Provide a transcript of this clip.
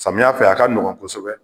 Samiyɛ fɛ a ka nɔgɔn kosɛbɛ